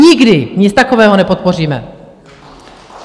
Nikdy nic takového nepodpoříme!